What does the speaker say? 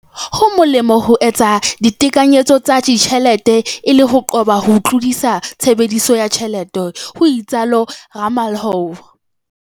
"Ho molemo ho etsa ditekanyetso tsa ditjhelete e le ho qoba ho tlodisa tshebediso ya tjhelete," ho itsalo Ramalho.